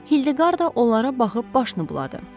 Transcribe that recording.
Hildeqarda onlara baxıb başını buladı.